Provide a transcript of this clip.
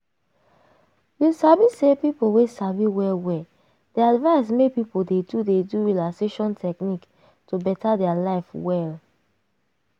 you sabi say people wey sabi well well dey advise make people dey do dey do relaxation technique to beta their life well.